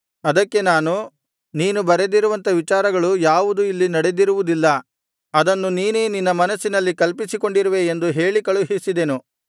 ಅದಕ್ಕೆ ನಾನು ನೀನು ಬರೆದಿರುವಂಥ ವಿಚಾರಗಳು ಯಾವುದು ಇಲ್ಲಿ ನಡೆದಿರುವುದಿಲ್ಲ ಅದನ್ನು ನೀನೇ ನಿನ್ನ ಮನಸ್ಸಿನಲ್ಲಿ ಕಲ್ಪಿಸಿಕೊಂಡಿರುವೆ ಎಂದು ಹೇಳಿ ಕಳುಹಿಸಿದೆನು